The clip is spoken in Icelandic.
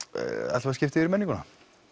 að skipta yfir í menninguna